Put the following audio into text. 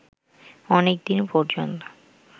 অনেকদিন পর্যন্ত